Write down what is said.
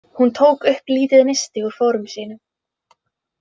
Hún tók upp lítið nisti úr fórum sínum.